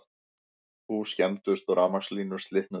Hús skemmdust og rafmagnslínur slitnuðu